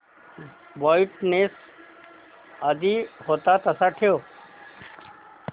brightness आधी होता तसाच ठेव